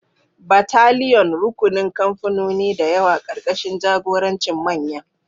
Battalion: Rukunin kamfanoni da yawa karkashin jagorancin manyan.